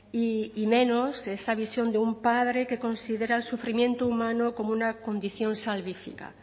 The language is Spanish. y menos esa visión de un padre que considera el sufrimiento humano como una condición salvífica